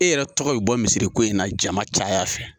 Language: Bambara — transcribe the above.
E yɛrɛ tɔgɔ ye bɔ misiri ko in na jama caya fɛ.